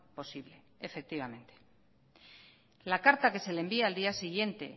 posible efectivamente la carta que se le envía al día siguiente